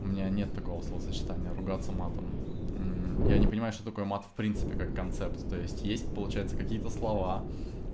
у меня нет такого словосочетания ругаться матом я не понимаю что такое мат в принципе как концепция то есть получается какие-то слова